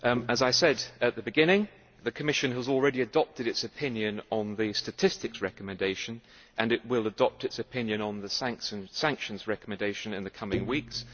As I said at the beginning, the Commission has already adopted its opinion on the statistics recommendation, and it will adopt its opinion on the sanctions recommendation in the coming weeks.